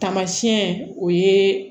Tamasiyɛn o ye